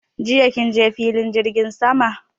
Jiya kin je filin jirgin sama?